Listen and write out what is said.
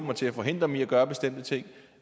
og til at forhindre dem i at gøre bestemte ting